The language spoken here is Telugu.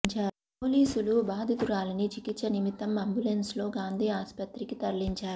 పోలీసులు బాధితురాలిని చికిత్స నిమిత్తం అంబులెన్స్ లో గాంధీ ఆస్పత్రికి తరలించారు